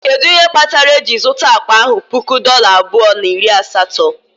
Kedu ihe kpatara eji zụta akpa ahụ puku dollar abụọ na iri asatọ?